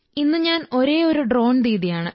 ഇന്ന് ഞാൻ ഒരേയൊരു ഡ്രോൺ ദീദിയാണ്